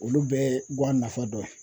Olu bɛɛ ye guwan nafa dɔ ye